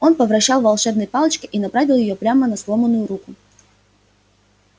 он повращал волшебной палочкой и направил её прямо на сломанную руку